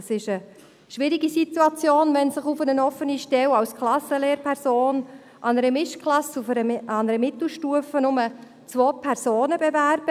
Es ist eine schwierige Situation, wenn sich auf eine offene Stelle als Klassenlehrperson einer Mischklasse der Mittelstufe lediglich zwei Personen bewerben.